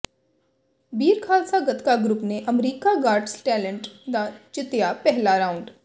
ਬੀਰ Khalsa Gatka group ਨੇ America got talent ਦਾ ਜਿੱਤਿਅ ਪਹਿਲਾ ਰਾਊਡ